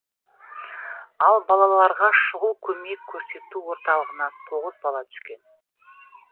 ал балаларға шұғыл көмек көрсету орталығына тоғыз бала түскен